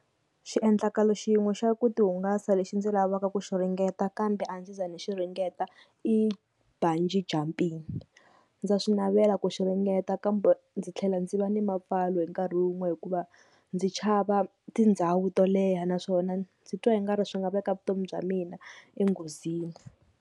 Xiendlakalo xin'we xa ku tihungasa lexi ndzi lavaka ku xi ringeta kambe a ndzi za ni xi ringeta i Bungy jumping. Ndza swi navela ku xi ringeta kambe ndzi tlhela ndzi va na mapfalo hi nkarhi wun'we hikuva ndzi chava tindhawu to leha, naswona ndzi twa i nga ri swi nga veka vutomi bya mina enghozini.